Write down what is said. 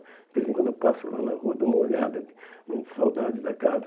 De vez em quando eu passo lá na rua, dou uma olhada, com saudades da casa.